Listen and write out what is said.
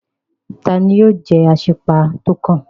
Tani yóò jẹ́ Asípa tó kàn?